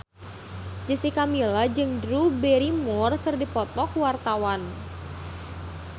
Jessica Milla jeung Drew Barrymore keur dipoto ku wartawan